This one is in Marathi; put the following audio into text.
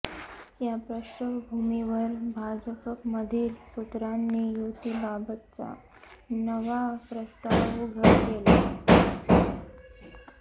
या पार्श्वभूमीवर भाजपमधील सूत्रांनी युतीबाबतचा नवा प्रस्ताव उघड केला